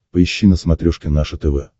поищи на смотрешке наше тв